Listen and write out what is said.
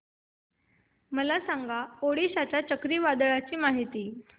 मला सांगा ओडिशा च्या चक्रीवादळाची माहिती